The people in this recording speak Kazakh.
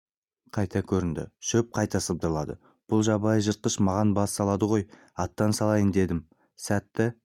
қайта көрінді шөп қайта сыбдырлады бұл жабайы жыртқыш маған бас салады ғой аттан салайын дедім сәті